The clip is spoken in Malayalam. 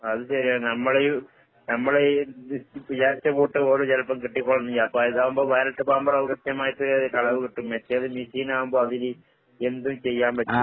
അത് ശെരിയാ, നമ്മളെയും നമ്മളിത് വിചാരിച്ച വോട്ട് പോലും ചെലപ്പോ കിട്ടിക്കോളണംന്നില്ല. ഇപ്പ ഇതാവുമ്പോ ബാലറ്റൊക്കെ ആവുമ്പോ കൃത്യമായിട്ട് അളവ് കിട്ടും. മറ്റേത് മെഷീൻ ആവുമ്പൊ അവര് എന്തും ചെയ്യാൻ പറ്റും.